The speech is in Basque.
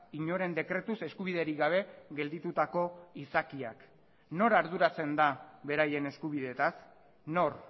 inoren dekretuz eskubiderik gabe gelditutako izakiak nor arduratzen da beraien eskubideetaz nor